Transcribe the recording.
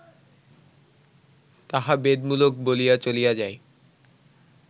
তাহা বেদমূলক বলিয়া চলিয়া যায়